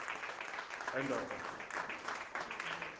endondo